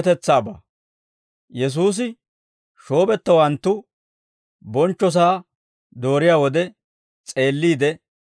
Yesuusi shoobettowanttu bonchchosaa dooriyaa wode s'eeliide,